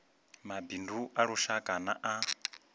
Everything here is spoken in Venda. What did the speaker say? mabindu a lushaka na a